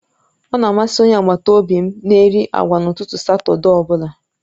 Ọ̀ na amasị Onye agbata obi m na-eri agwa n'ụtụtụ Satọde ọ bụla